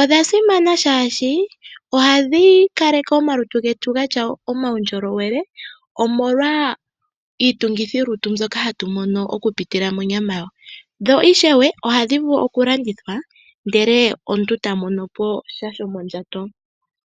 Odha simana oshoka ohadhi kaleke omalutu getu ge na uundjolowele, omolwa iitungithilutu mbyoka hatu mono okupitila monyama yawo. Dho ishewe ohadhi vulu okulandithwa, ndele omuntu ta mono po sha shomondjato.